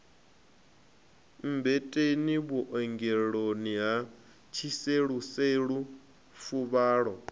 mmbeteni vhuongeloni ha tshiseluselu fuvhalo